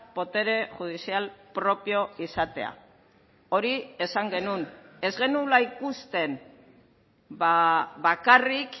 botere judizial propio izatea hori esan genuen ez genuela ikusten bakarrik